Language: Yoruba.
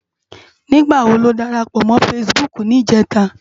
Nigbá wó ló dárápò mò fãsibúk nijètá?